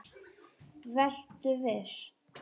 Vertu viss.